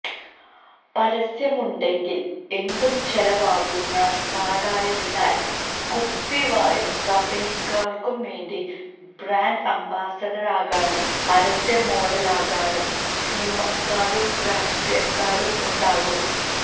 പരസ്യമുണ്ടെങ്കിൽ എന്തും ചെലവാകുന്ന നാടായതിലാൽ കുപ്പി വായു കമ്പനിക്കാർക്ക് വേണ്ടി ബ്രാൻഡ് അംബാസഡറാകാനും പരസ്യ മോഡലാകാനും സിനിമക്കാരും രാഷ്ട്രീയക്കാരും ഉണ്ടാകും